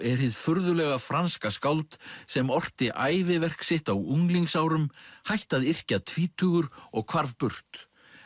er hið furðulega franska skáld sem orti sitt á unglingsárum hætti að yrkja tvítugur og hvarf burt